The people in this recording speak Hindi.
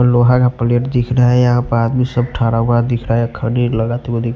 लोहा का प्लेट दिख रहा है और सब आदमी तरह हुए दिख रहा है खानी लगते --